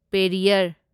Periyar